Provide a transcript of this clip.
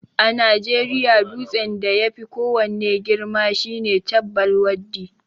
A najeriya dutsen da yafi ko wanne girma shine Chabbal Waddi